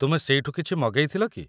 ତୁମେ ସେଇଠୁ କିଛି ମଗେଇ ଥିଲ କି?